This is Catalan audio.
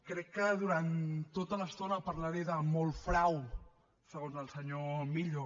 crec que durant tota l’estona parlaré molt de frau segons el senyor millo